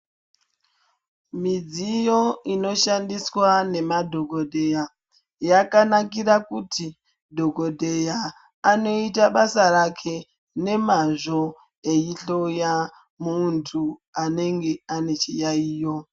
Midziyo inoshandiswa nemadhokodheya yakanakira kuti dhokodheya anoita basa rake ngemazvo eihloya muntu anenge ane chiyaiyo.